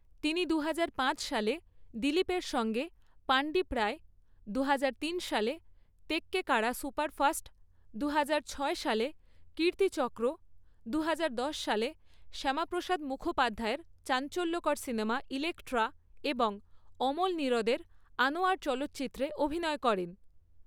তিনি দু হাজার পাঁচ সালে দিলীপের সঙ্গে পান্ডিপড়াই, দু হাজার তিন সালে তেক্কেকাড়া সুপারফাস্ট, দু হাজার ছয় সালে কীর্তিচক্র, দু হাজার দশ সালে শ্যামাপ্রসাদ মুখোপাধ্যায়ের চাঞ্চল্যকর সিনেমা ইলেক্ট্রা এবং অমল নীরোদের আনোয়ার চলচ্চিত্রতে অভিনয় করেন।